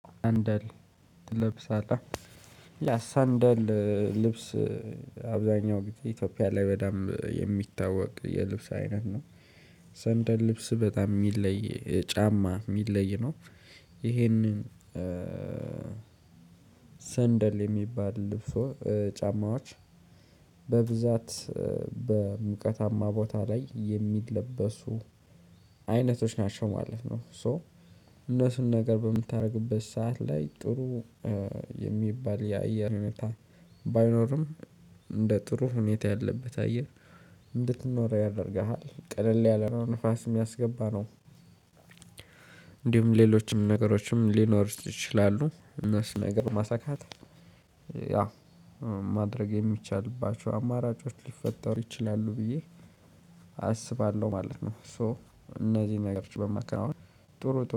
ሰንደል ትለብሳለህ ያ ሰንደል ልብስ አብዛኛው ጊዜ ኢትዮጵያ ላይ በደንብ የሚታወቅ የልብስ አይነት ነው። ሰንደል ልብስ በጣም ሚለይ ጫማ ሚለይ ነው። ይሄንን። ሰንደል የሚባል ልብሶ ጫማዎች በብዛት በሙቀታማ ቦታ ላይ የሚለበሱ አይነቶች ናቸው ማለት ነው። ሶ እነሱን ነገር በምታደርግበት ሰዓት ላይ ጥሩ የሚባል የአየር ሁኔታ ባይኖርም እንደ ጥሩ ሁኔታ ያለበት አየር እንድትኖር ያደርግሃል ቀለል ያለ ነው ንፋስ የሚያስገባ ነው። እንዲሁም ሌሎችም ነገሮችም ሊኖሩት ይችላሉ። እነሱን ነገር ማሳካት ያ ማድረግ የሚቻልባቸው አማራጮች ሊፈጠሩ ይችላሉ ብዬ አስባለሁ ማለት ነው። ሶ እነዚህን ነገሮች በማከናወን ጥሩ ጥሩ